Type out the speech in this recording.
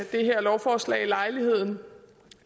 det her lovforslag lejligheden